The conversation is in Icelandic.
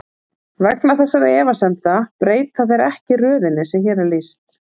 Vegna þessara efasemda breyta þeir ekki röðinni sem hér er lýst.